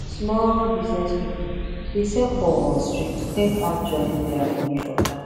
small business people dey sell for street to take add join their money for town